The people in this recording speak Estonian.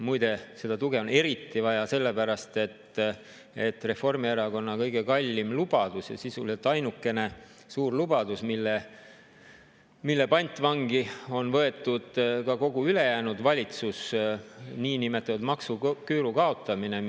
Muide, seda tuge on eriti vaja sellepärast, et Reformierakonna kõige kallim lubadus ja sisuliselt ainukene suur lubadus, mille pantvangi on võetud ka kogu ülejäänud valitsus, on niinimetatud maksuküüru kaotamine.